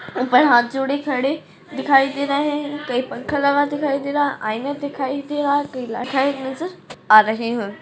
ऊपर हाथ जोड़े खड़े दिखाई दे रहे हैं कही पंखा लगा दिखा दे रहा है आईना दिखाई दे रहा है कही आ रहे हैं।